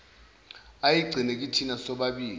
ayigcine kithina sobabili